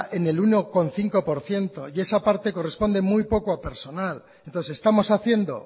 en el uno coma cinco por ciento y esa parte corresponde muy poco a personal entonces estamos haciendo